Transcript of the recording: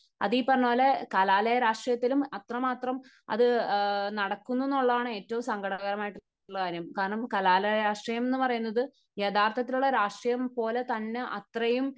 അതീ പറഞ്ഞപോലെ കലാലയ രാഷ്ട്രീയത്തിലും അത്രമാത്രം ഇത് നടക്കുന്നു എന്നുള്ളതാണ് ഏറ്റവും സങ്കടകരം ആയിട്ട് ഉള്ള കാര്യം. കാരണം കലാലയ രാഷ്ട്രീയം എന്ന് പറയുന്നത് യഥാർത്ഥത്തിലുള്ള രാഷ്ട്രീയം പോലെ തന്നെ അത്രയും